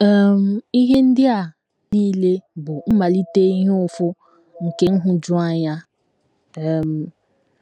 um Ihe ndị a nile bụ mmalite ihe ụfụ nke nhụjuanya. um ”